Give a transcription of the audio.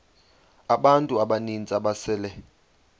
abantu abaninzi ababesele